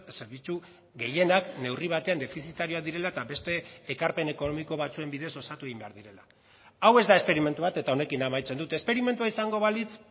zerbitzu gehienak neurri batean defizitarioak direla eta beste ekarpen ekonomiko batzuen bidez osatu egin behar direla hau ez da esperimentu bat eta honekin amaitzen dut esperimentua izango balitz